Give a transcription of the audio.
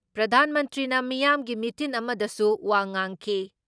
ꯄ꯭ꯔꯙꯥꯟ ꯃꯟꯇ꯭ꯔꯤꯅ ꯃꯤꯌꯥꯝꯒꯤ ꯃꯤꯇꯤꯟ ꯑꯃꯗꯁꯨ ꯋꯥ ꯉꯥꯡꯈꯤ ꯫